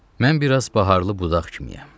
Mən biraz baharlı budaq kimiyəm.